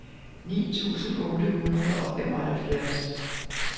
ni tusind otte hundrede og femoghalvfjerds